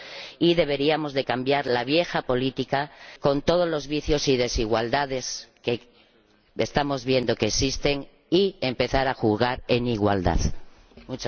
Y deberíamos cambiar la vieja política con todos los vicios y desigualdades que estamos viendo que existen y empezar a jugar en igualdad de condiciones.